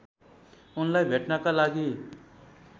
उनलाई भेट्नका लागि